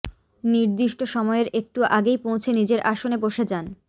নির্দিষ্ট সময়ের একটু আগেই পৌঁছে নিজের আসনে বসে যান